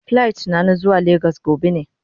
Plit na, na zuwa lagos gobe ne.